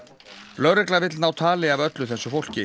lögregla vill ná tali af öllu þessu fólki